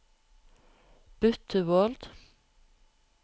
Bytt til Word